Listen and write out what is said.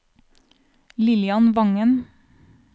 Lillian Vangen